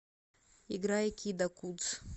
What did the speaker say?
играй кида кудз